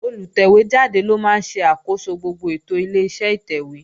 Olùtẹ̀wé jáde ló máa ń ṣe àkóso gbogbo ètò Ileṣẹ́ ìtẹ̀wé